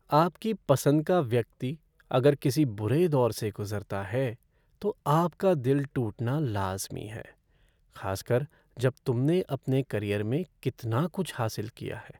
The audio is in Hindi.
आपकी पसंद का व्यक्ति अगर किसी बुरे दौर से गुज़रता है, तो आपका दिल टूटना लाज़मी है, खासकर जब तुमने अपने करियर में कितना कुछ हासिल किया है।